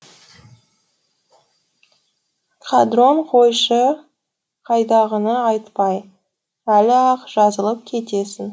қадрон қойшы қайдағыны айтпай әлі ақ жазылып кетесің